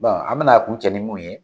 Bɔn an bɛna a kun cɛ ni mun ye